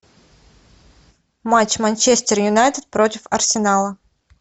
матч манчестер юнайтед против арсенала